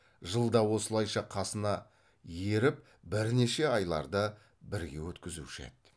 жылда осылайша қасына еріп бірнеше айларды бірге өткізуші еді